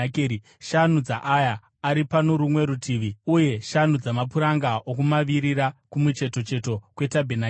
shanu dzaaya ari pano rumwe rutivi, uye shanu dzamapuranga okumavirira, kumucheto cheto kwetabhenakeri.